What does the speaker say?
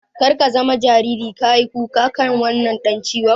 Kar ka zama jariri ka yi kuka kan wannan dan ciwon.